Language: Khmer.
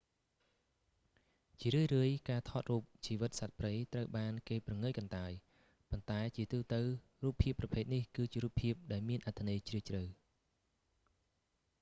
ជារឿយៗ ការថតរូបជីវិតសត្វព្រៃត្រូវបានគេព្រងើយកន្តើយ ប៉ុន្តែជាទូទៅរូបភាពប្រភេទនេះ គឺជារូបភាពដែលមានអត្ថន័យជ្រាលជ្រៅ